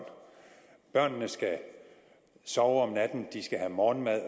børnene skal sove om natten de skal have morgenmad